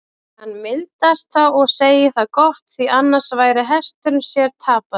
Hann mildast þá og segir það gott, því annars væri hesturinn sér tapaður.